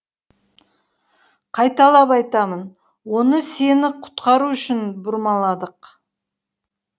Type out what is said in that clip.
қайталап айтамын оны сені құтқару үшін бұрмаладық